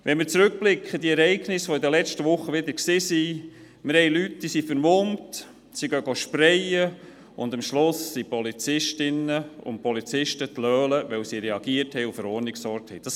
Wenn wir auf die Ereignisse der letzten Wochen zurückblicken, sehen wir, dass Leute vermummt waren, sprayten, aber am Schluss die Polizisten und Polizistinnen die Dummen waren, weil sie reagiert und für Ordnung gesorgt haben.